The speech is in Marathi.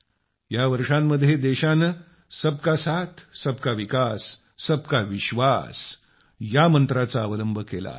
या वर्षांमध्ये देशाने सबका साथ सबकाविकास सबकाविश्वास या मंत्राचा अवलंब केला आहे